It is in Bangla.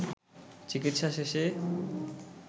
চিকিৎসা শেষে